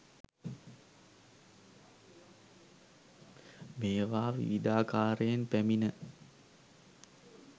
මේවා විවිධාකාරයෙන් පැමිණ